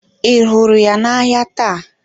Ị hụrụ ya n'ahịa taa?